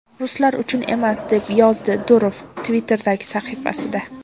Ruslar uchun emas”, - deb yozdi Durov Twitter’dagi sahifasida.